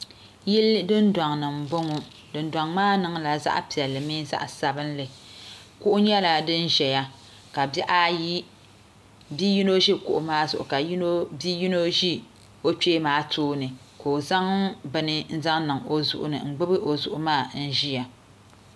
Yili Dundoŋ ni n boŋo dundoŋ maa niŋla zaɣ piɛlli mini zaɣ sabinli kuɣu nyɛla din ʒɛya ka bia yino ʒi kuɣu maa zuɣu ka yino ʒi o kpee maa tooni ka o zaŋ bin zaŋ niŋ o zuɣu ni n gbubi o zuɣu maa ʒiya